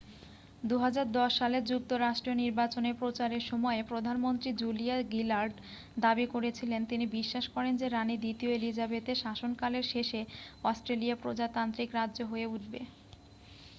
2010 সালের যুক্তরাষ্ট্রীয় নির্বাচনের প্রচারের সময়ে প্রধানমন্ত্রী জুলিয়া গিলার্ড দাবি করেছিলেন তিনি বিশ্বাস করেন যে রানি দ্বিতীয় এলিজাবেথের শাসনকালের শেষে অস্ট্রেলিয়া প্রজাতান্ত্রিক রাজ্য হয়ে উঠবে